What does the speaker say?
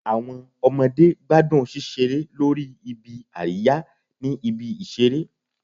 Awọn ọmọde gbadun ṣiṣere lori ibi-ariya ni ibi-iṣere